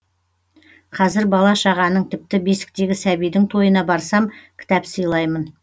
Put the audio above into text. қазір бала шағаның тіпті бесіктегі сәбидің тойына барсам кітап сыйлаймын